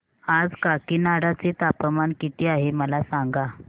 आज काकीनाडा चे तापमान किती आहे मला सांगा